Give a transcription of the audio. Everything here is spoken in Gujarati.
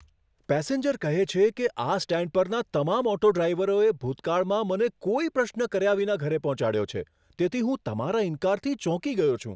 પેસેન્જર કહે છે કે, આ સ્ટેન્ડ પરના તમામ ઓટો ડ્રાઇવરોએ ભૂતકાળમાં મને કોઈ પ્રશ્ન કર્યા વિના ઘરે પહોંચાડ્યો છે, તેથી હું તમારા ઇનકારથી ચોંકી ગયો છું!